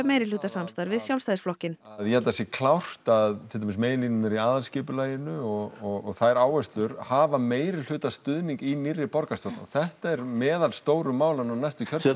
meirihlutasamstarf við Sjálfstæðisflokkinn ég held að það sé klárt að til dæmis meginlínurnar í aðalskipulaginu og þær áherslur hafa meirihlutastuðning í nýrri borgarstjórn og þetta eru meðal stóru málanna á næsta